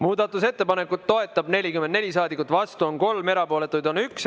Muudatusettepanekut toetab 44 saadikut, vastu on 3, erapooletuid on 1.